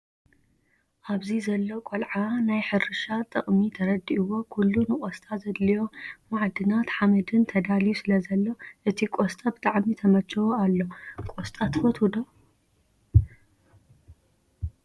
ኣብዚ ዘሎ ቆልዓ ናይ ሕርሻ ጠቅሚ ተረዲእዎ ኩሉ ንቆስጣ ዘድልዮ መዓድናት ሓመድን ተዳልዩ ስለዝተከሎ እቲ ቆስጣ ብጣዕሚ ተመችዎ ኣሎ። ቆስጣ ትፈትዎ ዶ?